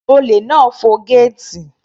Olè náà fọ gẹ́ẹ̀tì.